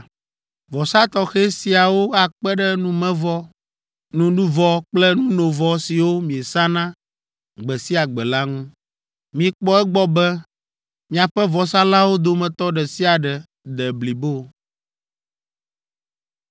Vɔsa tɔxɛ siawo akpe ɖe numevɔ, nuɖuvɔ kple nunovɔ siwo miesana gbe sia gbe la ŋu. Mikpɔ egbɔ be miaƒe vɔsalãwo dometɔ ɖe sia ɖe de blibo.”